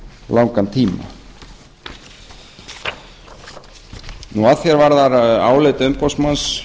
langan tíma að því er varðar álit umboðsmanns